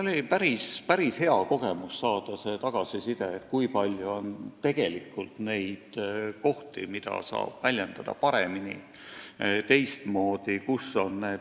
Ja oli päris hea kogemus saada tagasiside, kui palju on tegelikult neid kohti, kus saab end väljendada paremini, teistmoodi.